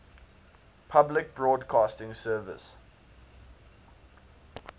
public broadcasting service